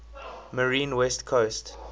marine west coast